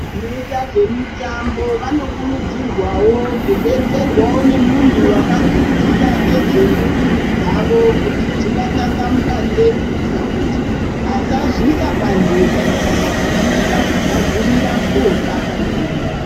Vanoyita zvemitambo, vanokurudzirwawo kudetserwawo nemuntu wakadzidzira nezvemuviri dzavo kuti dzingatasamuka sei, kuyitira kuti vasazviyisa panjodzi kana vachienda kugadzirira kotamba nevamweni.